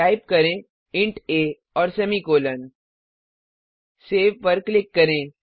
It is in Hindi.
टाइप करें इंट आ और सेमीकोलों सेव पर क्लिक करें